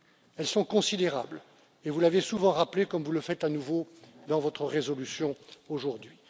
Elles sont considérables, et vous l'avez souvent rappelé, comme vous le faites à nouveau dans votre résolution aujourd'hui.